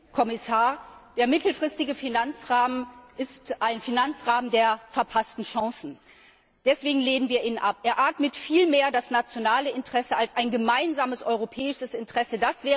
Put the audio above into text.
Herr Präsident, Herr Kommissar! Der mittelfristige Finanzrahmen ist ein Finanzrahmen der verpassten Chancen. Deswegen lehnen wir ihn ab! Er atmet viel mehr das nationale Interesse als ein gemeinsames europäisches Interesse.